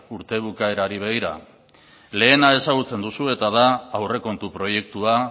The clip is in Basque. urte bukaerari begira lehena ezagutzen duzu eta da aurrekontu proiektua